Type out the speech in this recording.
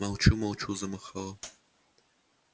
молчу молчу замахала